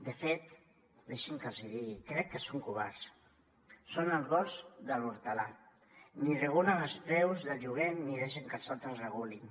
de fet deixin me que els ho digui crec que són covards són el gos de l’hortolà ni regulen els preus de lloguer ni deixen que els altres regulin